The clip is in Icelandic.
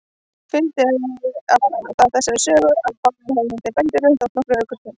Fylgdi það þessari sögu, að báðir hefðu þeir bændur þótt nokkuð ölkærir.